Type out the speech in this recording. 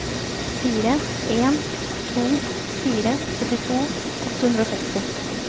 fire en to fire syttito åtte hundre og seksti